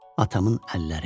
Atamın əlləri.